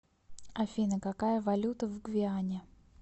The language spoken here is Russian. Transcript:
афина какая валюта в гвиане